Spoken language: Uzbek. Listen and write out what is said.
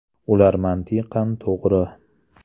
Ular mantiqan to‘g‘ri.